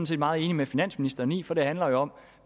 set meget enig med finansministeren i for det handler jo om